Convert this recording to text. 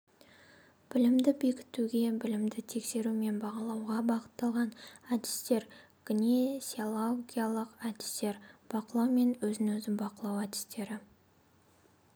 білімді бекітуге білімді тексеру мен бағалауға бағытталған әдістер гносеологиялық әдістер бақылау мен өзін-өзі бақылау әдістері